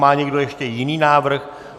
Má někdo ještě jiný návrh?